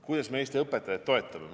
Kuidas me Eesti õpetajaid toetame?